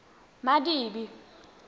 madibe